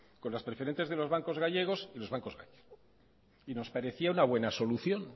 con las preferentes de los bancos gallegos y los bancos gallegos y nos parecía una buena solución